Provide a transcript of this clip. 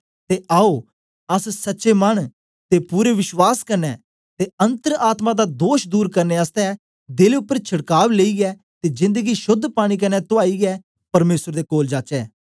ते आओ अस सच्चे मन ते पूरे विश्वास कन्ने ते अन्तर आत्मा दा दोष दूर करने आसतै देल उपर छड़काव लेईयै ते जेंद गी शोद्ध पानी कन्ने तुआइयै परमेसर दे कोल जाचै